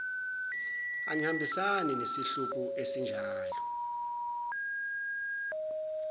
angihambisani nesihluku esinjalo